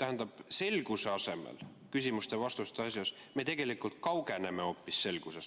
tähendab, selguse saamise asemel küsimuste-vastuste asjus me tegelikult kaugeneme hoopis selgusest.